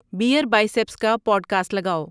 beer biceps کا podcast لگاؤ